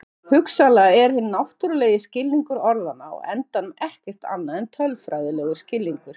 hugsanlega er hinn náttúrulegi skilningur orðanna á endanum ekkert annað en tölfræðilegur skilningur